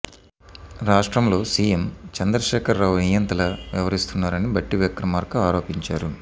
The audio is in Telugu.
రాష్ట్రంలో సీఎం చంద్రశేఖర్ రావు నియంతలా వ్యవహరిస్తున్నారని భట్టి విక్రమార్క ఆరోపించారు